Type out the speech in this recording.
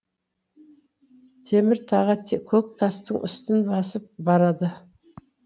темір таға көк тастың үстін басып барады